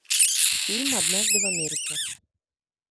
фильм однажды в америке